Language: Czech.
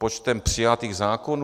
Počtem přijatých zákonů?